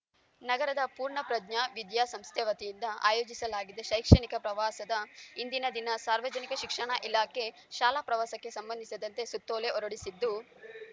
ನಗರದ ಪೂರ್ಣಪ್ರಜ್ಞ ವಿದ್ಯಾಸಂಸ್ಥೆ ವತಿಯಿಂದ ಆಯೋಜಿಸಲಾಗಿದ್ದ ಶೈಕ್ಷಣಿಕ ಪ್ರವಾಸದ ಹಿಂದಿನ ದಿನ ಸಾರ್ವಜನಿಕ ಶಿಕ್ಷಣ ಇಲಾಖೆ ಶಾಲಾ ಪ್ರವಾಸಕ್ಕೆ ಸಂಬಂಧಿಸಿದಂತೆ ಸುತ್ತೋಲೆ ಹೊರಡಿಸಿದ್ದು